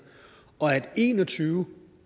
og at der en og tyve